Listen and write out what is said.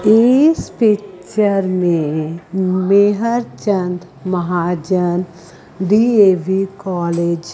इस पिक्चर में Mehr Chand Mahajan D A V college --